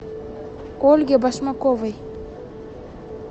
ольге башмаковой